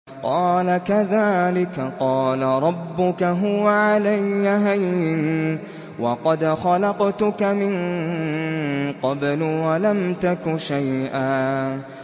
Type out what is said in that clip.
قَالَ كَذَٰلِكَ قَالَ رَبُّكَ هُوَ عَلَيَّ هَيِّنٌ وَقَدْ خَلَقْتُكَ مِن قَبْلُ وَلَمْ تَكُ شَيْئًا